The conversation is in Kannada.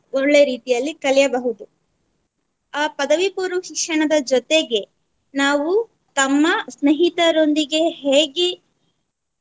ಒಳ್ಳೆ ರೀತಿಯಲ್ಲಿ ಕಲಿಯಬಹುದು ಆ ಪದವಿ ಪೂರ್ವ ಶಿಕ್ಷಣದ ಜೊತೆಗೆ ನಾವು ತಮ್ಮ ಸ್ನೇಹಿತರೊಂದಿಗೆ ಹೇಗೆ